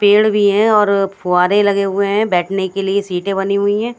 पेड़ भी हे और फुआरे लगे हुए हे बेठने के लिए सीटे बनी हुई हैं।